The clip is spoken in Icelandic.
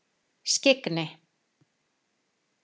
Skyggni